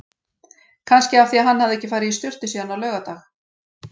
Kannski af því hann hafði ekki farið í sturtu síðan á laugardag.